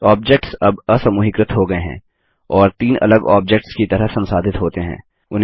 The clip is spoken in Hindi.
ऑब्जेक्ट्स अब असमूहीकृत हो गये हैं और तीन अलग ऑब्जेक्ट्स की तरह संसाधित होते हैं